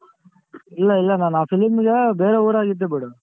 ಇಲ್ಲ ಇಲ್ಲ ನಾನ್ ಆ film ಗೆ ಬೇರೆ ಊರಲ್ಲಿದ್ದೆ ಬಿಡು.